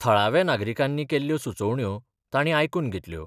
थळाव्या नागरिकांनी केल्ल्यो सुचोवण्यो तांणी आयकून घेतल्यो.